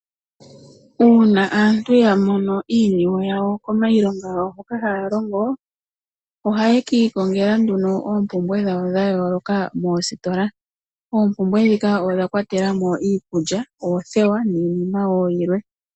Uuna aantu yamono iiyemo yawo komailonga ngawo hoka haalongo ohaye kikongela oompumbwe dhawo dhayoloka moositola. Oompumbwe ndhika odha kwatelamo iikulya oothewa niinima woo yilwe.